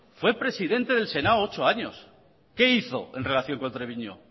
fue presidente del senado ocho años qué hizo en relación con treviño